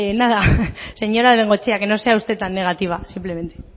señora bengoechea que no sea usted tan negativa simplemente